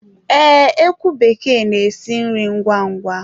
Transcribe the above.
Ee, ekwu bekee n'esi nri ngwá ngwá